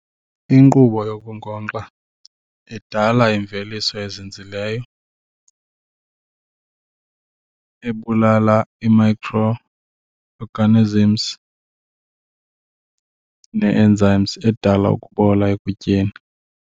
Inkqubo yokunkonxa idala imveliso ezinzileyo ebulala i-micro organisms nee-enzymes edala ukubola ekutyeni.